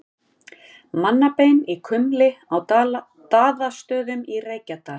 Mannabein í kumli á Daðastöðum í Reykjadal.